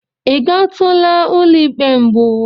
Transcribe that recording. I gatụla ụlọ ikpe mbụ?